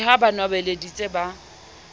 ke ha ba nwabeleditse ba